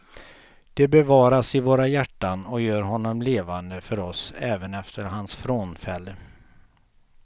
De bevaras i våra hjärtan och gör honom levande för oss även efter hans frånfälle.